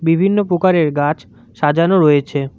বিভিন্ন পোকারের গাছ সাজানো রয়েছে।